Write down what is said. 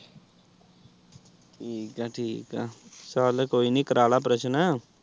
ਠੀਕ ਏ ਠੀਕ ਏ ਚੱਲ ਕੋਈ ਨੀ ਕਰਵਾ ਲੈ ਓਪਰੇਸ਼ਨ।